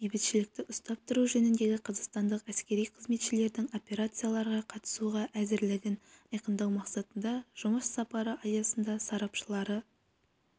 бейбітшілікті ұстап тұру жөніндегі қазақстандық әскери қызметшілердің операцияларға қатысуға әзірлігін айқындау мақсатында жұмыс сапары аясында сарапшылары